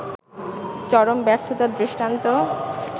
চরম ব্যর্থতার দৃষ্টান্ত